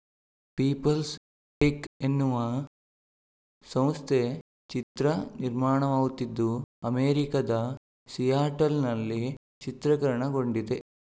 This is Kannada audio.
ಪೀಪಲ್ಸ್‌ ಟೆಕ್‌ ಎನ್ನುವ ಸಂಸ್ಥೆ ಚಿತ್ರ ನಿರ್ಮಾಣವಾಗುತ್ತಿದ್ದು ಅಮೆರಿಕದ ಸಿಯಾಟಲ್‌ನಲ್ಲಿ ಚಿತ್ರಕರಣಗೊಂಡಿದೆ